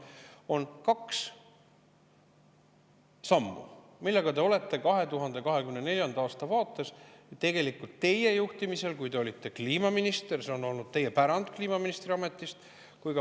On kaks sammu, millega tegeles 2024. aastal teie juhtimisel, kui te olite kliimaminister, ja praegu jätkate seda peaministrina.